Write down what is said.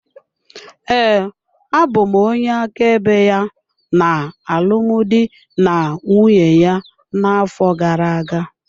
Ee, abụ m onye áká ebe ya na alụmdi na nwunye ya na-afọ gara-aga.